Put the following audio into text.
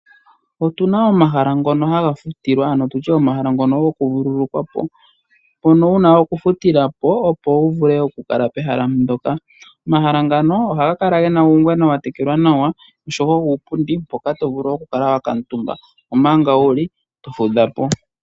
Otu na omahala ngono ha gafutilwa ano tu tye omahala ngono goku vululukwapo mpono wu na okufutila po opo wu vule oku kala pehala ndyoka. Omahala ngano ohaga kala ge na uungwena wa tekelwa nawa osho wo uupundi hoka to vulu oku kala wa kuutumba omanga wu li to fudha po.